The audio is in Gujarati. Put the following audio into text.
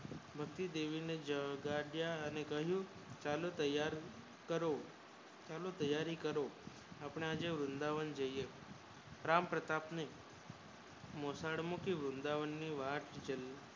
બહુ દેવી જગ્યા અને કહું ચાલો તૈયાર કરો ચાલો તૈયારી કરો આપણે આજે વૃંદાવન જઇયે રામ પ્રતાપ ની મોસાળ મૂકી વૃંદાવનવાત જોય